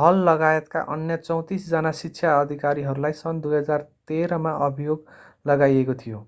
हललगायतका अन्य 34 जना शिक्षा अधिकारीहरूलाई सन् 2013 मा अभियोग लगाइएको थियो